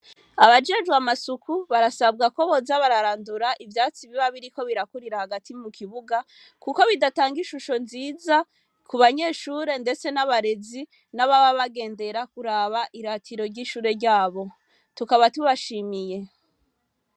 Abajejwe amasuku barasabwa ko boza bararandura ivyatsi biba biriko birakurira hagati mu kibuga kuko bidatanga ishusho nziza ku banyeshuri ndetse n'abarezi nababa bagendera kuraba iratiro ry'ishuri ryabo tukaba tubashimiye.